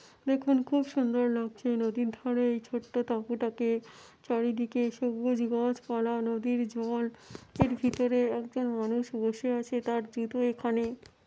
দেখুন খুব সুন্দর লক্ষী নদীর ধারে এই ছোট্ট তাবুটাকে চারিদিকে সবুজ গাছ পালা নদীর জল এর ভিতরে একজন মানুষ বসে আছে তার জুতো এখানে।